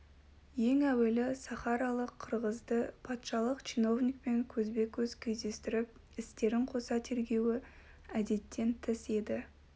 ең әуелі сахаралық қырғызды патшалық чиновникпен көзбе-көз кездестіріп істерін қоса тергеуі әдеттен тыс еді